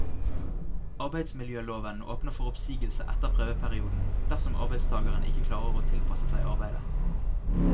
Arbeidsmiljøloven åpner for oppsigelse etter prøveperioden, dersom arbeidstageren ikke klarer å tilpasse seg arbeidet.